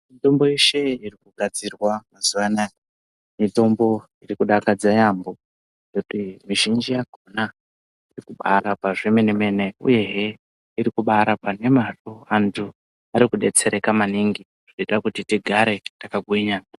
Mitombo yeshe iri kugadzirwa mazuwa anaya, mitombo iri kudakadza yaampho, ngekuti mizhinji yakhona iri kubaarapa zvemene-mene, uyehe iri kubaarapa nemazvo, antu ari kudetsereka maningi, zvinoita kuti tigare takagwinya.